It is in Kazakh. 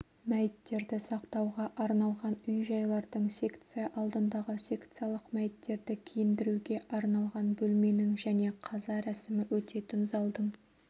мәйіттерді сақтауға арналған үй-жайлардың секция алдындағы секциялық мәйіттерді киіндіруге арналған бөлменің және қаза рәсімі өтетін залдың